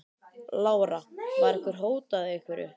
Lára: Var ykkur hótað einhverju?